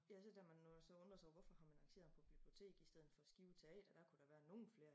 Ja så da man nu så undre sig over hvorfor har man arrangeret ham på biblioteket i stedet for Skive Teater der kunne da være nogen flere